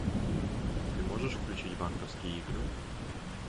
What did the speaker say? ты можешь включить банковские игры